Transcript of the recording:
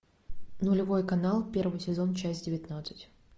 нулевой канал первый сезон часть девятнадцать